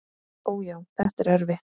Ó, já, þetta er erfitt.